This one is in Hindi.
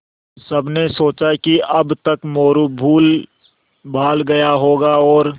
सबने सोचा कि अब तक मोरू भूलभाल गया होगा और